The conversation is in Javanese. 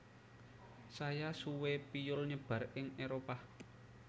Saya suwe piyul nyebar ing Éropah